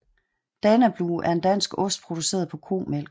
Danablu er en dansk ost produceret på komælk